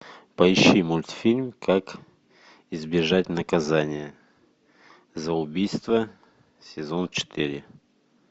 поищи мультфильм как избежать наказания за убийство сезон четыре